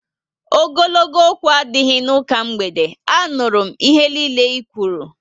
Ogologo okwu adịghị n'ụka mgbede, a nụrụ m ihe nille i kwụrụ